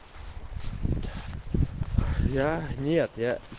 я нет я